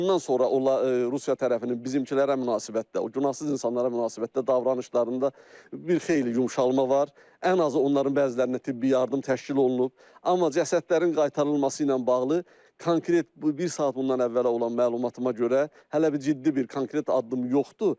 Ondan sonra Rusiya tərəfinin bizimkilərə münasibətdə, günahsız insanlara münasibətdə davranışlarında bir xeyli yumşalma var, ən azı onların bəzilərinə tibbi yardım təşkil olunub, amma cəsədlərin qaytarılması ilə bağlı konkret bir saat bundan əvvəl olan məlumatıma görə hələ bir ciddi bir konkret addım yoxdur.